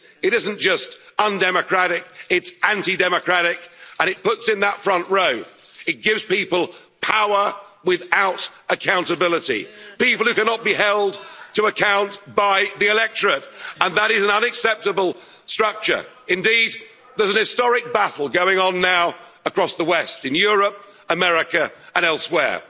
It isn't just undemocratic, it's anti-democratic, and it puts in that front row, it gives people power without accountability people who cannot be held to account by the electorate. And that is an unacceptable structure. Indeed, there's an historic battle going on now across the West in Europe, America and elsewhere.